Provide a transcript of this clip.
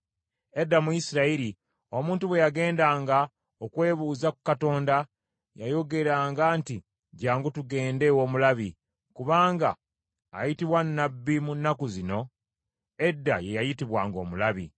(Edda mu Isirayiri, omuntu bwe yagendanga okwebuuza ku Katonda, yayogeranga nti, “Jjangu tugende ew’omulabi;” kubanga ayitibwa nnabbi mu nnaku zino, edda ye yayitibwanga omulabi).